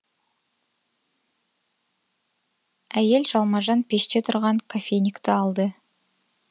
әйел жалмажан пеште тұрған кофейникті алды